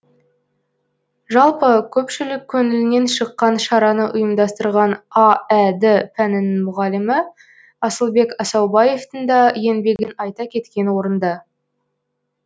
жалпы көпшілік көңілінен шыққан шараны ұйымдастырған аәд пәнінің мұғалімі асылбек асаубаевтың да еңбегін айта кеткен орынды